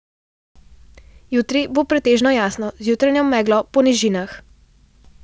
Jutri bo pretežno jasno z jutranjo meglo po nižinah.